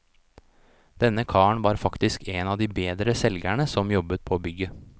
Denne karen var faktisk en av de bedre selgerne som jobbet på bygget.